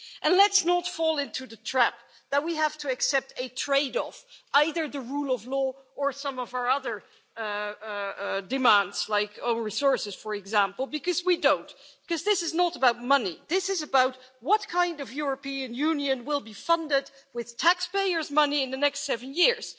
And let's not fall into the trap that we have to accept a trade off, either the rule of law or some of our other demands like our resources, for example, because we don't, because this is not about money, this is about what kind of European Union will be funded with taxpayers' money in the next seven years.